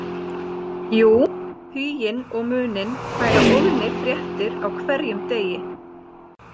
Jú, Huginn og Muninn færa Óðni fréttir á hverjum degi